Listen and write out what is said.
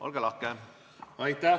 Olge lahke!